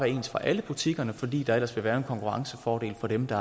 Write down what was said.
ens for alle butikkerne fordi der ellers ville være en konkurrencefordel for dem der